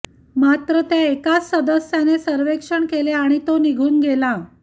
मात्र त्या एकाच सदस्याने सर्वेक्षण केले आणि तो निघून गेला